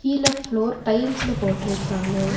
கீழெ floor டைல்ஸ்ல போட்டு இருக்காங்க.